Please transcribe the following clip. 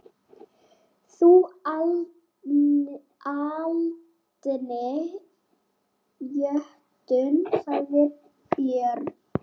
Þú aldni jötunn, sagði Björn.